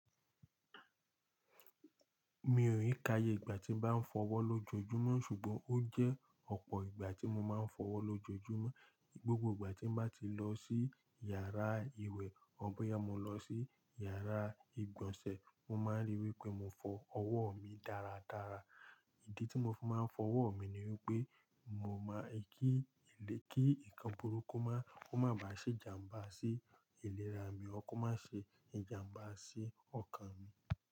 Mi ò rí kayé ìgbà tí n bá fọ́wọ́ lójoojúmọ́ ṣùgbọ́n ó jẹ́ ọ̀pọ̀ ìgbà tí mo máa ń fọ́wọ́ lójoojúmọ́. Gbogbo ìgbà tí n bá ti lọ sí yàrá ìwẹ̀ or bọ́yá mó lọ sí yàrá ìgbọ̀nsẹ̀, mo máa ríi wípé mo fọ ọwọ́ mi dáradára. Ìdí tí mo fi máa ń fọwọ́ mi ni wípé mo máa kí ìlé kí nǹkan burúkú máa ba ṣe ìjàmbá sí ìlera mi ọ́ kó má ṣe ìjàmbá sí ọkàn mi.